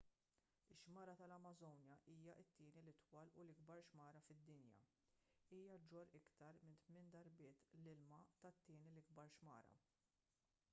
ix-xmara tal-amażonja hija t-tieni l-itwal u l-ikbar xmara fid-dinja hija ġġorr iktar minn 8 darbiet l-ilma tat-tieni l-ikbar xmara